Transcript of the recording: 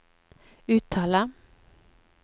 uttale